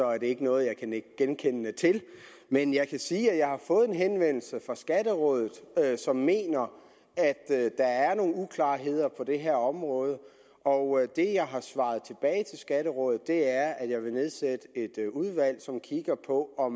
er det ikke noget jeg kan nikke genkende til men jeg kan sige at jeg har fået en henvendelse fra skatterådet som mener at der er nogle uklarheder på det her område og det jeg har svaret tilbage til skatterådet er at jeg vil nedsætte et udvalg som kigger på og